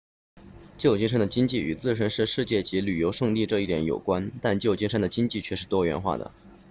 旧金山的经济与自身是世界级旅游胜地这一点有关但旧金山的经济却是多元化的